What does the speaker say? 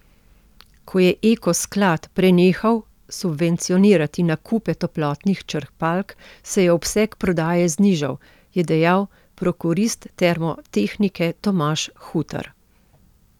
Ko je Eko sklad prenehal subvencionirati nakupe toplotnih črpalk, se je obseg prodaje znižal, je dejal prokurist Termotehnike Tomaž Hutar.